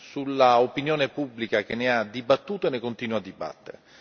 sull'opinione pubblica che ne ha dibattuto e ne continua a dibattere.